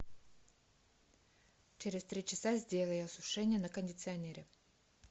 через три часа сделай осушение на кондиционере